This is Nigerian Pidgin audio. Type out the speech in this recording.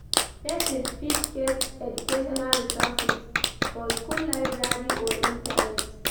Persin fit get educational resources for school library or internet